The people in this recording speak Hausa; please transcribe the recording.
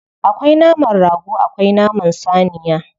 Akwai naman rago akwai naman saniya.